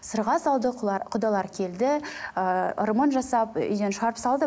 сырға салды құдалар келді ііі ырымын жасап үйден шығарып салды